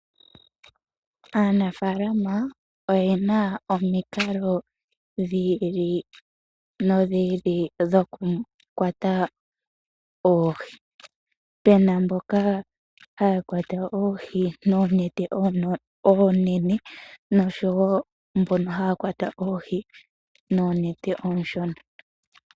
Aanafaalama oye na omikalo dhi ili nodhi ili dhokukwata oohi pe na mboka haya kwata oohi noonete oonene noshowo mbono haya kwata oohi noonete oonshona.